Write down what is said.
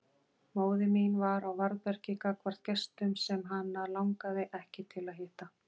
Móðir mín var á varðbergi gagnvart gestum sem hana langaði ekki til að hitta.